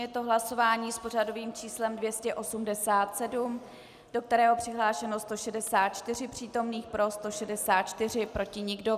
Je to hlasování s pořadovým číslem 287, do kterého přihlášeno 164 přítomných, pro 164, proti nikdo.